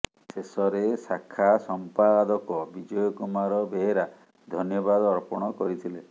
ଶେଷରେ ଶାଖା ସମ୍ପାଦକ ବିଜୟ କୁମାର ବେହେରା ଧନ୍ୟବାଦ ଅର୍ପଣ କରିଥିଲେ